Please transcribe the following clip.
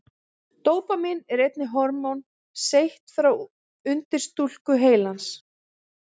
Dópamín er einnig hormón seytt frá undirstúku heilans.